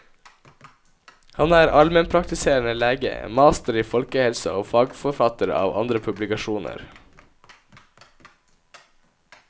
Han er allmennpraktiserende lege, master i folkehelse og fagforfatter av andre publikasjoner.